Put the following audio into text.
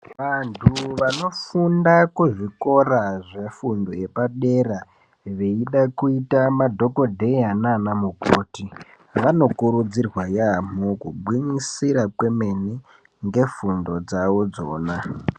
Vantu vanofunda kuzvikora zvefundo yepadera dera veida kuita madhokodheya nanamukoti vanokurudzirwa yaamho kugwinyisira kwememe ngefundo dzavo idzona .